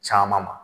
Caman ma